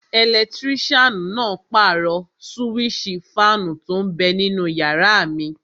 Ẹlẹtírísàn náà pàrọ̀ súwísì fáànù tó n bẹ ninú yàrá mi